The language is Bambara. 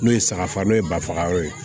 N'o ye saga fa n'o ye bafagayɔrɔ ye